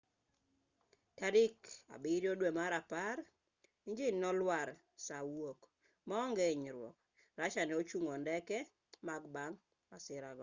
tarik 7 dwe mar apar injin ne olwar saa wuok maonge inyruok russia ne ochngo ndege mar ii-76s bang' masirano